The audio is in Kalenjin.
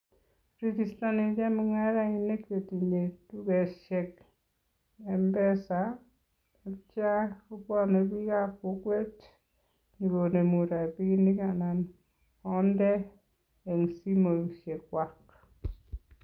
Rigistoni chemung'arainik chetinye dukeshek m-pesa atyo kobwone biikab kokwet nyokonemu rapiinik anan konde eng simoshekwak.